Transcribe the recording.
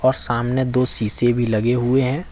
और सामने दो सीसे भी लगे हुए हैं ।